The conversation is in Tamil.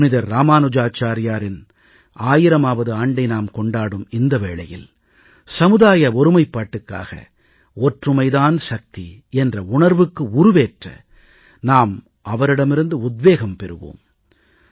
புனிதர் இராமானுஜாச்சார்யாரின் 1000வது ஆண்டை நாம் கொண்டாடும் இந்த வேளையில் சமுதாய ஒருமைப்பாட்டுக்காக ஒற்றுமை தான் சக்தி என்ற உணர்வுக்கு உருவேற்ற நாம் அவரிடமிருந்து உத்வேகம் பெறுவோம்